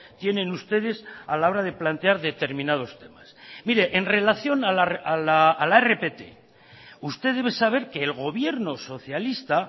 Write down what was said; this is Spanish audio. tienen ustedes a la hora de plantear determinados temas mire en relación a la rpt usted debe saber que el gobierno socialista